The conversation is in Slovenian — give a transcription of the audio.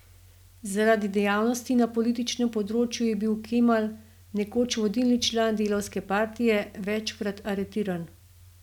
Zaradi dejavnosti na političnem področju je bil Kemal, nekoč vodilni član delavske partije, večkrat aretiran.